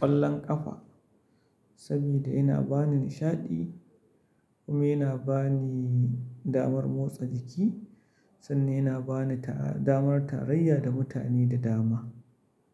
ƙwallon ƙafa saboda yana ba ni nishaɗi kuma yana ba ni damar motsa jiki sannan yana ba ni ta'a damar tarayya da mutane da dama.